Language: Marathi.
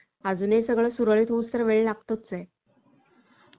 अजून ही सगळं सुरळीत होत तोवर वेळ लागतोच आहे.